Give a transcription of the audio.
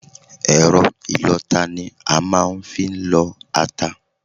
Ẹ̀rọ ìlọta ni a màa n fi n lọta